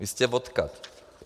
Vy jste odkud?